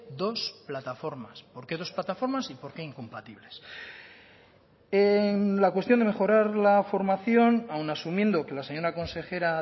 dos plataformas por qué los plataformas y por qué incompatibles en la cuestión de mejorar la formación aun asumiendo que la señora consejera